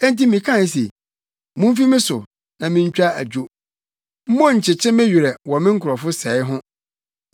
Enti mekae se, “Mumfi me so na mintwa adwo. Monnkyekye me werɛ wɔ me nkurɔfo sɛe ho.”